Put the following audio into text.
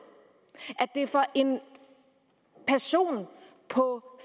for en person på